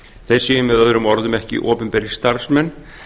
þeir séu með öðrum orðum ekki opinberir starfsmenn